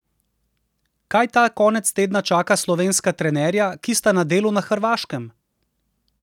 Kaj ta konec tedna čaka slovenska trenerja, ki sta na delu na Hrvaškem?